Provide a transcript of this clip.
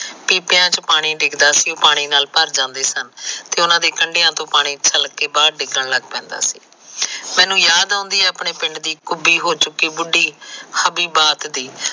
ਪੀਪਿਆ ਚ ਪਾਣੀ ਡਿਗਦਾ ਸੀ ਤੇ ਪਾਣੀ ਨਾਲ ਭਰ ਜਾਂਦੇ ਸਨ ਤੇ ਉਹਨਾ ਤੇ ਕੰਡਿਆ ਤੋ ਪਾਣੀ ਠਲਕ ਕੇ ਬਾਹਰ ਡਿੱਗਣ ਲੱਗ ਪੈਂਦਾ ਸੀ ਮੈਨੂੰ ਯਾਦ ਆਉਂਦੀ ਏ ਆਪਣੇ ਪਿੰਡ ਦੀ ਕੁਬੀ ਹੋ ਚੁਕੀ ਬੁਡੀ